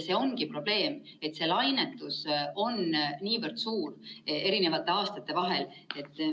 See ongi probleem, et see lainetus eri aastate vahel on niivõrd suur.